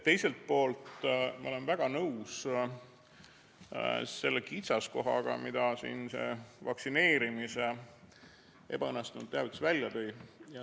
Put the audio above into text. Teiselt poolt ma olen väga nõus, et see oli kitsaskoht, mille see vaktsineerimise ebaõnnestunud teavitus välja tõi.